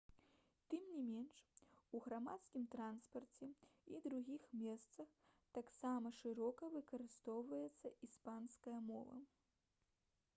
тым не менш у грамадскім транспарце і другіх месцах таксама шырока выкарыстоўваецца іспанская мова